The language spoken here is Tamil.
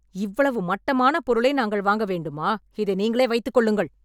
இவ்வளவு மட்டமான பொருளை நாங்கள் வாங்க வேண்டுமா? இதை நீங்களே வைத்துக் கொள்ளுங்கள்.